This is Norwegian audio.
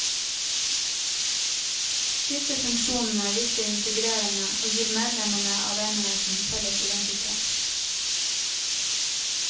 Disse funksjonene virker integrerende, og gir medlemmene av enheten felles identitet.